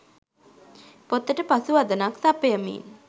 පොතට පසු වදනක් සපයමින්